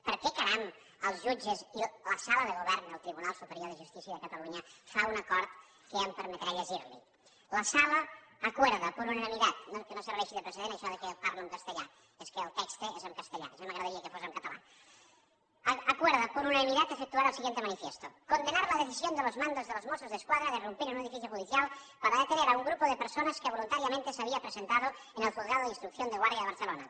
per què caram els jutges i la sala de govern del tribunal superior de justícia de catalunya fan un acord que em permetré llegir li la sala acuerda por unanimidad que no serveixi de precedent això que jo parlo en castellà és que el text és en castellà ja m’agradaria que fos en català efectuar el siguiente manifiesto condenar la decisión de los mandos de los mossos d’esquadra de irrumpir en un edificio judicial para detener a un grupo de personas que voluntariamente se había presentado en el juzgado de instrucción de guardia de barcelona